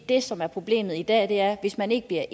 det som er problemet i dag er at hvis man ikke bliver